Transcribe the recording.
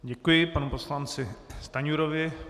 Děkuji panu poslanci Stanjurovi.